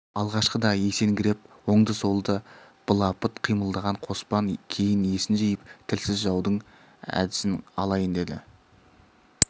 алғашқыда есеңгіреп оңды-солды былапыт қимылдаған қоспан кейін есін жиып тілсіз жаудың әдісін алайын деді